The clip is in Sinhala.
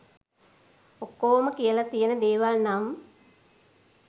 ඔක්කොම කියලා තියන දේවල් නම්